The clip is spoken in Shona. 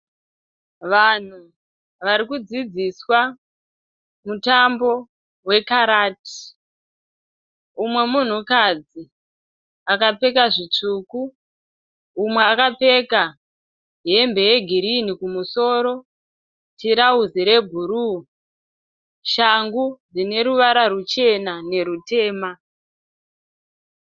Vanhu vari kudzidziswa mutambo wekarati, umwe munhukadzi akapfeka zvitsvuku, mumwe akapfeka hembe yegirini kumusoro, tirauzi rebhuruu, shangu dzine ruvara ruchena nerutema